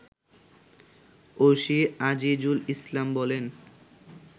OC Azizul Islam বলেন